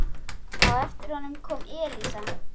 Á eftir honum kom Elísa.